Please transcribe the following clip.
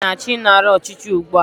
Ndị amị na-achọ ịnara ọchịchị ugbua